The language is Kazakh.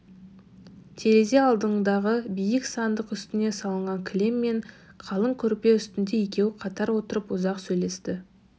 терезе алдындағы биік сандық үстіне салынған кілем мен қалың көрпе үстінде екеуі қатар отырып ұзақ сөйлесті